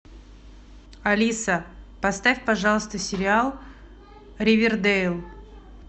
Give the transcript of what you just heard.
алиса поставь пожалуйста сериал ривердейл